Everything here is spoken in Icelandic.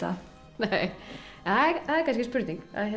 nei en það er kannski spurning